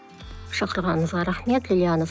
шақырғаныңызға рахмет лиана